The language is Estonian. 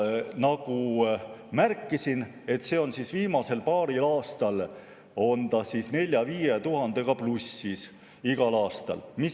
Nagu ma märkisin, viimasel paaril aastal on see igal aastal olnud 4000–5000‑ga plussis.